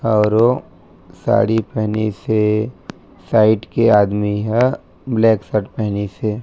अउर ओ साड़ी पहनीस हे साइड के आदमी ह ब्लैक शर्ट पेहनीस हे।